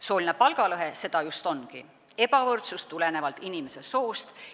Sooline palgalõhe seda just ongi: ebavõrdsus tulenevalt inimese soost.